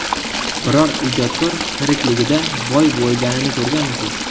Biror ijodkor tirikligida boy bo‘lganini ko‘rganmisiz?